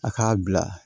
A k'a bila